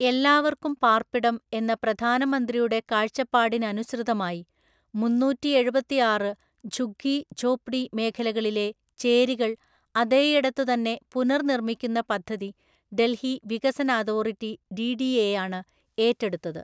എല്ലാവർക്കും പാർപ്പിടം എന്ന പ്രധാനമന്ത്രിയുടെ കാഴ്ചപ്പാടിനനുസൃതമായി, മുന്നൂറ്റിഎഴുപത്താറ് ഝുഗ്ഗി ഝോപ്ഡി മേഖലകളിലെ ചേരികൾ അതേയിടത്തുതന്നെ പുനർനിർമിക്കുന്ന പദ്ധതി ഡൽഹി വികസനഅതോറിറ്റി ഡിഡിഎ യാണ് ഏറ്റെടുത്തത്.